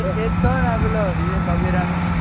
પેલો વિવેક ઓબેરાય નું,